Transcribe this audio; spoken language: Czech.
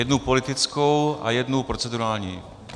Jednu politickou a jednu procedurální.